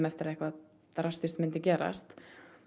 eftir að eitthvað drastískt myndi gerast